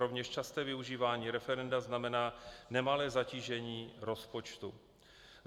Rovněž časté využívání referenda znamená nemalé zatížení rozpočtu.